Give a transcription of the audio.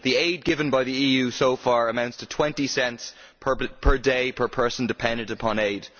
The aid given by the EU so far amounts to 20 cents per day per person dependent upon aid.